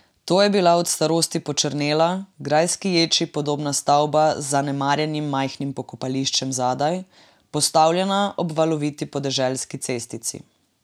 To je bila od starosti počrnela, grajski ječi podobna stavba z zanemarjenim majhnim pokopališčem zadaj, postavljena ob valoviti podeželski cestici.